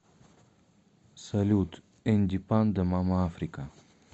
салют энди панда мама африка